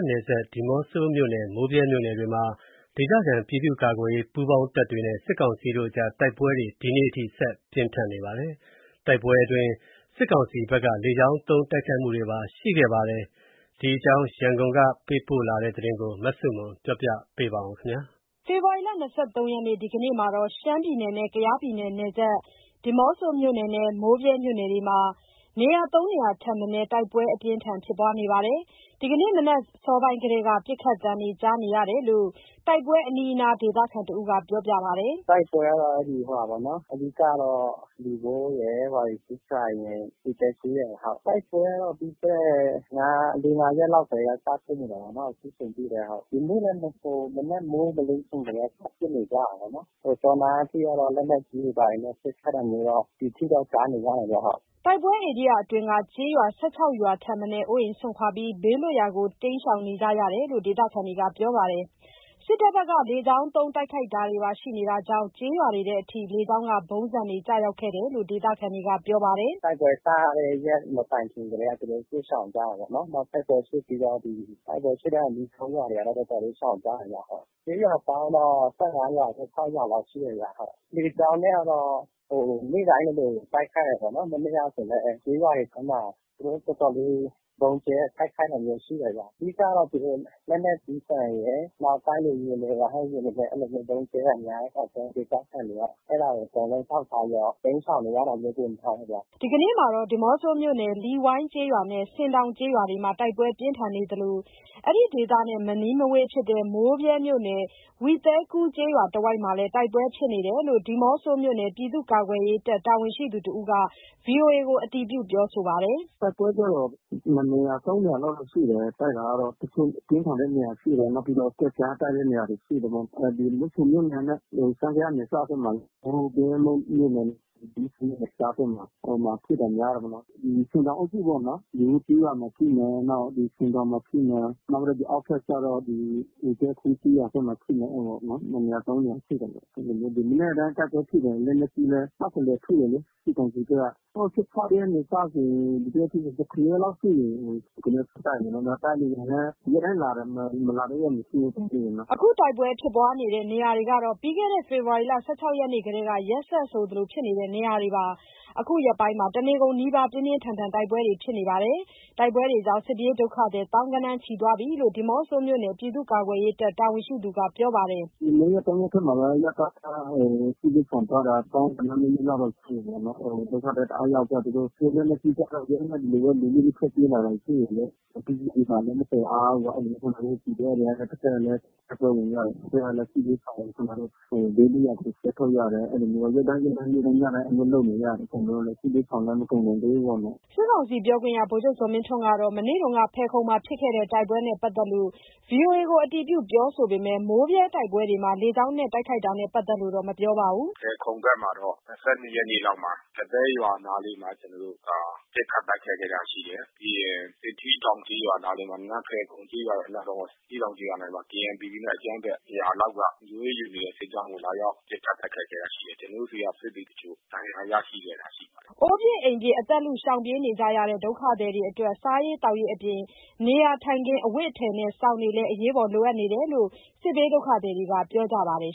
နယ်စပ် ဒီးမော့ဆိုမြို့နယ်နဲ့ မိုးဗြဲမြို့နယ်တွေမှာ ဒေသခံပြည်သူ့ကာကွယ်ရေးပူးပေါင်းတပ်တွေနဲ့ စစ်ကောင်စီတို့အကြား တိုက်ပွဲတွေ ဒီကနေ့အထိ ပြင်းထန်နေပါတယ်။ တိုက်ပွဲအတွင်း စစ်ကောင်စီဘက်က လေကြောင်းသုံးတိုက်ခိုက်တာတွေပါ ရှိခဲ့ပါတယ်။ ဒီအကြောင်း ရန်ကုန်က ပေးပို့တဲ့ သတင်းကို မဆုမွန်က တင်ပြပေးထားပါတယ်။ ဖေဖော်ဝါရီ ၂၃ ရက်နေ့ ဒီကနေ့မှာ ရှမ်း-ကယားနယ်စပ်ဖြစ်တဲ့ ဒီးမော့ဆိုမြို့နယ် နဲ့ မိုးဗြဲမြို့နယ်တွေမှာ ၃ နေရာထက်မနည်း တိုက်ပွဲပြင်းထန်ဖြစ်ပွားနေပါတယ်။ ဒီနေ့မနက်အစောပိုင်းကတည်းက ပစ်ခတ်သံတွေ ကြားနေရတယ်လို့ တိုက်ပွဲအနီးအနား ဒေသခံတဦးက ပြောပါတယ်။ “တိုက်ပွဲကတော့ အဓိကတော့ လီဝိုးရယ်၊ ဝါရီဆူးဖလိုင်ရယ်၊ ဝီသဲကူးရယ်။ တိုက်ပွဲကတော့ ပြီးခဲ့တဲ့ ၄ ၊ ၅ ရက်လောက် ကတည်းက စဖြစ်နေတာပေါ့နော်၊ အခုချိန်ထိပဲ။ ဒီနေ့လည်း မနက်မိုးမလင်းခင်ကတည်းက စပစ်နေတာပေါ့နော်။ စောနအထိကတော့ လက်နက်ကြီးတွေဘာတွေနဲ့ ပစ်ခတ်တာမျိုးတော့ ဒီအထိတော့ ကြားနေရတယ်ဗျဟုတ်။” တိုက်ပွဲဧရိယာအတွင်းက ကျေးရွာ ၁၆ ရွာထက်မနည်း အိုးအိမ်စွန့်ခွာကြပြီး ဘေးလွတ်ရာကို ရှောင်တိမ်းနေကြရတယ်လို့ ဒေသခံတွေကပြောပါတယ်။ စစ်တပ်ဘက်က လေကြောင်းသုံးတိုက်ခိုက်တာတွေပါ ရှိတာကြောင့် ကျေးရွာတွေထဲအထိ လေကြောင်းက ဗုံးဆန်တွေ ကျရောက်ခဲ့တယ်လို့ ဒေသခံတွေကပြောပါတယ်။ “တိုက်ပွဲစတဲ့ ရက်မတိုင်းခင်ကတည်းက သူတို့ စစ်ရှောင်ကြတာပေါ့နော်။ နောက်တိုက်ပွဲဖြစ်ပြီးတော့ တိုက်ပွဲဖြစ်တဲ့ အနီးကပ်ကျေးရွာတွေတော့ တော်တော်လေးရှောင်ကြတယ်ဗျ ဟုတ်။ ကျေးရွာပေါင်းတော့ ၁၅ ရွာ ၁၆ ရွာလောက်ရှိတယ်ဗျ။ လေကြောင်းနဲ့ကတော့ နေ့တိုင်းလိုလိုတိုက်ခိုက်တာပေါ့နော်။ မနေ့က ဆိုလည်း ကျေးရွာတွေထဲမှာ သူတို့ သွားသွားပြီး ဗုံးကြဲတိုက်ခိုက်တာမျိုးရှိတယ်ဗျ။ အဓိကတော့ သူတို့ လက်နက်ကြီးဒဏ်ရယ်၊ နောက်တိုက်လေယာဉ်တွေနဲ့ ရဟက်ယာဉ်တွေနဲ့ အဲ့လိုမျိုး ဗုံးကြဲတာများတဲ့အခါကျတော့ ဒေသခံတွေက အကုန်လုံး ကြောက်ကြပြီးတော့ တိမ်းရှောင်နေရတာလည်း ပိုများတယ်ဗျ။” ဒီကနေ့မှာတော့ ဒီးမော့ဆိုမြို့နယ်ထဲက လီဝိုးကျေးရွာနဲ့ ဆင်တောင်ကျေးရွာတွေမှာ တိုက်ပွဲပြင်းထန်နေသလိုအဲ့ဒေသနဲ့ မနီးမဝေးဖြစ်တဲ့ မိုးဗြဲမြို့နယ် ဝီသဲကူးကျေးရွာတဝိုက်မှာလည်း တိုက်ပွဲတွေဖြစ်နေကြောင်းဒီးမော့ဆိုမြို့နယ် ပြည်သူ့ ကာကွယ်ရေးတပ် တာဝန်ရှိသူတဦးက ဗွီအိုအေကို အတည်ပြုပြောဆိုပါတယ်။ “တိုက်ပွဲကျတော့ ၂နေရာ ၃နေရာလောက်တော့ရှိတယ်။ တိုက်တာကတော့ အပြင်းထန်တဲ့နေရာရှိတယ်။ နောက်ပြီးတော့ ကွက်ကျားတိုက်တဲ့နေရာတွေရှိတယ်ပေ့ါနော်။ ဒီးမော့ဆိုမြို့နယ်နဲ့ ရှမ်း-ကယားနယ်စပ်ဘက်မှာလေး မိုးဗြဲမြို့နယ် ဝီသဲကူးဒေသဘက်မှာ ဟိုမှာ ဖြစ်တာများတယ်ပေါ့နော်။ ဒီဆင်တောင်အုပ်စုပေါ့နော်။ လီဝိုးကျေးရွာမှာ ဖြစ်မယ်။ နောက် ဒီဆင်တောက်မှာ ဖြစ်မယ်။ နောက်ပြီးတော့ အောက်ဘက်ကျတော့ ဝီသဲကူးကျေးရွာဘက်မှာ ဖြစ်မယ်ပေါ့နော်။ ၂နေရာ ၃နေရာဖြစ်တယ်ပေါ့။ ဒီမနက်တိုင်း တိုက်ပွဲဖြစ်တယ်။ လက်နက်ကြီးလည်း ထုတယ်လေး စစ်ကောင်စီဘက်က။ ဟို ၁၆ ရက်ကနေစဆိုရင် ၇ ရက်လောက် ဖြစ်နေပြီး။ ၇ ရက် ဆက်တိုက်ပဲပေါ့နော် တိုက်လေယာဉ်နဲ့ ရက်တိုင်းလာတယ် မလာတဲ့ ရက်မရှိဘူး တိုက်လေယာဉ်က။” အခုတိုက်ပွဲဖြစ်နေတဲ့နေရာတွေဟာ ပြီးခဲ့တဲ့ ဖေဖော်ဝါရီ ၁၆ ရက်နေ့ကတည်းက ရက်ဆက်ဆိုသလိုဖြစ်ခဲ့တာပါ။ အခုရက်ပိုင်းမှာတော့ တနေကုန်နီးပါး ပြင်းပြင်းထန်ထန်တိုက်ပွဲတွေဖြစ်လာတယ်လို့သိရပါတယ်။ တိုက်ပွဲတွေကြောင့် စစ်ပြေးဒုကဿည် သောင်းဂဏန်းချီသွားပြီလို့ ဒီးမော့ဆိုမြို့နယ် ပြည်သူ့ကာကွယ်ရေးတပ် တာဝန်ရှိသူက ပြောပါတယ်။ “ဒီ ၂ ရက် ၃ ရက်ထဲမှာက အရပ်သားက စစ်ဘေးရှောင်သွားတာ သောင်းဂဏန်းနီးနီးလောက်တော့ ရှိမယ်ဗျနော်။ သူတို့ ဒုက္ခသည်တအားရောက်သွားတယ်။ သူတို့ လက်နက်ကြီးကျလို့ ဒီတိုင်းပဲ လူလွတ် ထွက်ပြေးလာတာ ရှိတယ်လေး။ ပစ္စည်းတွေဘာတွေလည်း မသယ်အားဘူးပေါ့။ အဲ့လိုမျိုးကျနော်တို့ PDF တွေကလည်း တစ်ဖက်က တိုက်ပွဲတွေ တဖက်ကလည်း စစ်ဘေးရှောင်ကို ကျနော်တို့ ဘေးလွတ်ရာကို ဆွဲထုတ်ရ အဲ့လိုမျိုးပေါ့။ ရက်တိုင်းရက်တိုင်း နေ့တိုင်းညတိုင်း အဲ့လိုလုပ်နေရတယ်။ စစ်ဘေးရှောင်လည်း မကုန်နိုင်သေးဘူးပေါ့နော်။” စစ်ကောင်စီပြောခွင့်ရ ဗိုလ်ချုပ်ဇော်မင်းထွန်းကတော့ မနေ့က ဖယ်ခုံမှာ ဖြစ်ခဲ့တဲ့ တိုက်ပွဲနဲ့ ပတ်သက်လို့ ဗွီအိုအေကို အတည်ပြုပြောဆိုပေမယ့် မိုးဗြဲတိုက်ပွဲတွေမှာ လေကြောင်း တိုက်ခိုက်မှုနဲ့ပတ်သက်လို့ မပြောပါဘူး။ “ဖယ်ခုံဘက်မှာတော့ ၂၂ ရက်နေ့လောက်မှာ ကသဲရွာနားလေးမှာ ကျနော်တို့ ပစ်ခတ်တိုက်ခိုက် ခဲ့တာရှိတယ်။ ပြီးရင်..... ကျေးရွာနားလေးမှာ နန်းဖဲခုံကျေးရွာရဲ့အနားတဝိုက်.....တောင်ကျေးရွာနားမှာ KNPP နဲ့ အကြမ်းဖက် ၁၀၀ လောက်က လုံခြုံရေးယူနေတဲ့စစ်ကြောင်းကို လာရောက်ပစ်ခတ်တိုက်ခဲ့တာ ရှိတယ်။ ကျနော်တို့ဆီက စစ်သည်တချို့ဒဏ်ရာရှိခဲ့တာ ရှိတယ်။” အိုးပစ်အိမ်ပစ် အသက်လု ရှောင်ပြေးနေကြရတဲ့ ဒုက္ခသည်တွေအတွက် စားရေးသောက်ရေးအပြင် နေရာထိုင်ခင်း၊ အဝတ်အထည်နဲ့ စောင်တွေလည်း အကူအညီလိုအပ်နေတယ်လို့ စစ်ဘေးဒုက္ခသည်တွေက ပြေဆိုကြပါတယ်